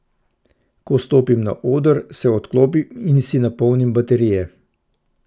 Ko stopim na oder, se odklopim in si napolnim baterije.